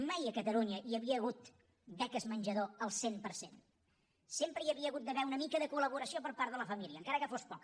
mai a catalunya hi havia hagut beques menjador al cent per cent sempre hi havia hagut d’haver una mica de colla família encara que fos poca